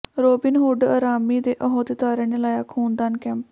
Robin Hood army ਦੇ ਅਹੁਦੇਦਾਰਾਂ ਨੇ ਲਾਇਆ ਖ਼ੂਨਦਾਨ ਕੈਂਪ